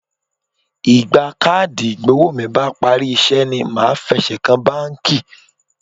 Ìgbà káàdì ìgbowó mi bá parí iṣẹ́ ni màá fẹsẹ̀ kan báńkì.